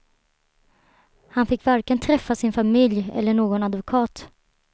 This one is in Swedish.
Han fick varken träffa sin familj eller någon advokat.